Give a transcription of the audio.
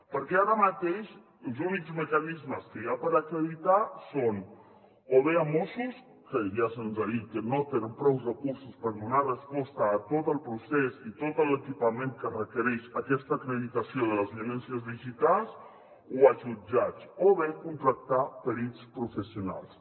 perquè ara mateix els únics mecanismes que hi ha per acreditar són o bé mossos que ja se’ns ha dit que no tenen prous recursos per donar resposta a tot el procés i tot l’equipament que requereix aquesta acreditació de les violències digitals o els jutjats o bé contractar perits professionals